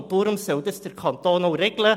Deshalb soll der Kanton dies auch regeln.